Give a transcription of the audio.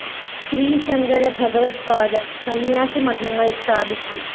ശ്രീശങ്കര ഭഗവദ്പാദര്‍ സംന്യാസി മഠങ്ങള്‍ സ്ഥാപിച്ചു